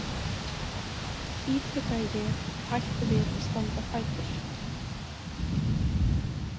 ítrekaði ég og hætti við að standa á fætur.